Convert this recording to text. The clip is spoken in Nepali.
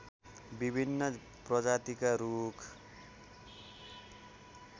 विभिन्न प्रजातिका रूख